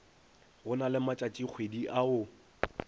go na le matšatšikgwedi ao